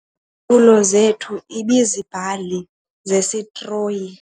Izitulo zethu ibiziibhali zesitroyi.